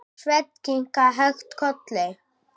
Sveinn kinkaði hægt kolli.